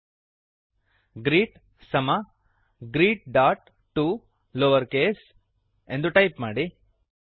greet greet ಸಮ greetಟಿಒ lowercase greet dot to lower case ಎಂದು ಟೈಪ್ ಮಾಡಿ